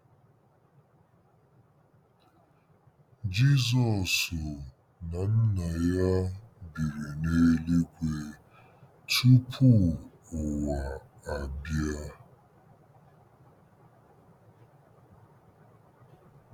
Jizọs na Nna ya biri n’eluigwe “ tupu ụwa abịa.”